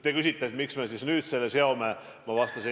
Te küsite, miks me siis nüüd selle seome usaldusküsimusega.